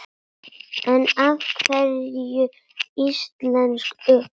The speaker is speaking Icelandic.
En af hverju íslensk ull?